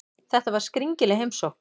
Þetta var skringileg heimsókn.